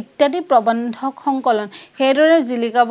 ইত্যাদি প্ৰবন্ধক সংকলন সেইদৰে জিঁলিকাব